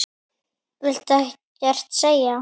Viltu ekkert segja?